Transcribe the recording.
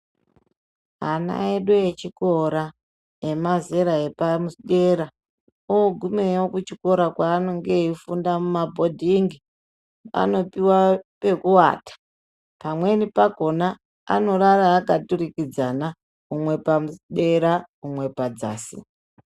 Ana edu echikora emazera epadera oogumeyo kuchikora kweanenge eifunda mumabhodhingi anopuwa pekuata pamweni pakhona anorara akatukiridzana umwe padera umwe padzasi.